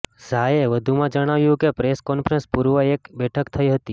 ઝાએ વધુમાં જણાવ્યું કે પ્રેસ કોન્ફરન્સ પૂર્વે એક બેઠક થઈ હતી